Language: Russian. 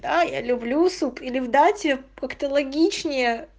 а я люблю суп или в дате как-то логичние